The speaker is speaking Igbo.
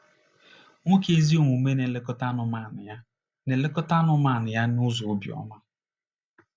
Nwoke ezi omume na-elekọta anụmanụ ya na-elekọta anụmanụ ya n’ụzọ obiọma.